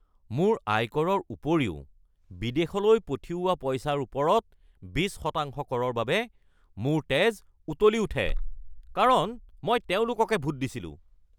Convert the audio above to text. মোৰ আয়কৰৰ ওপৰিও বিদেশলৈ পঠিওৱা পইচাৰ ওপৰত ২০% কৰৰ বাবে মোৰ তেজ উতলি উঠে, কাৰণ মই তেওঁলোককে ভোট দিছিলোঁ। (গ্ৰাহক)